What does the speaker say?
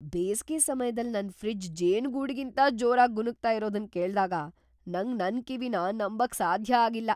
ಬೇಸ್ಗೆ ಸಮ್ಯದಲ್ ನನ್ ಫ್ರಿಜ್ ಜೇನುಗೂಡಿಗಿಂತ ಜೋರಾಗ್ ಗುನುಗ್ತಾ ಇರೋದನ್ ಕೇಳ್ದಾಗ ನಂಗ್ ನನ್ ಕಿವಿನ ನಂಬಕ್ ಸಾಧ್ಯ ಆಗಿಲ್ಲ !